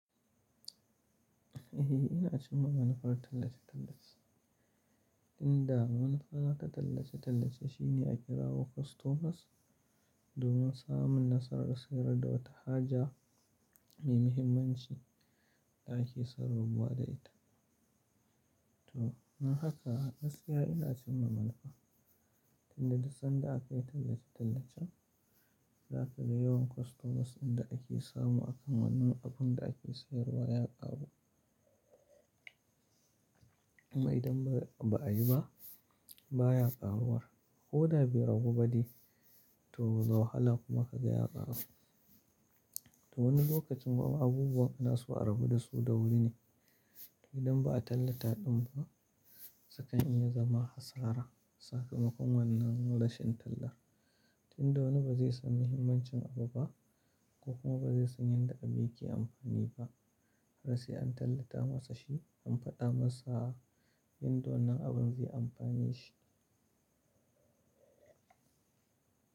Eh ina cimma manufar tallace-tallace. Inda manufa ta tallace-tallace shine a kira wokustomas domin samun nasarar sayar da wata haja mai muhimmanci da ake son rabuwa da ita. To nan haka a gaskiya ina cimma manufa, tin da dasan da aka yi tallace-tallacen, za ka ga yawan kwastomas inda ake samu akan wannan abun da ake sayarwa ya ƙaru. Idan ba a yi ba baya ƙaruwar, ko da bai ragu ba dai to wahala kuma ka ga ya ƙaru. To wani lokacin kuma abubuwa na su rabu da su da wuri ne, idan ba a tallataɗin ba, sukan iya zama hasara sakamakon wannan rashin tallar. Tin dawani bazai san muhimmancin abu ba, ko kuma bazai san yadda yake amfani ba, har sai an tallata masa shi, an faɗa masa yadda wannan abun zai amfane shi.